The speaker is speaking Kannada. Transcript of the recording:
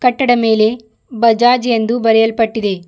ಕಟ್ಟಡ ಮೇಲೆ ಬಜಾಜ್ ಎಂದು ಬರೆಯಲ್ಪಟ್ಟಿದೆ.